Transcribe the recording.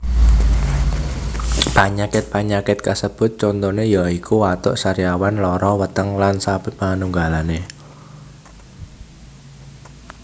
Panyakit panyakit kasebut contoné ya iku watuk sariawan lara weteng lsp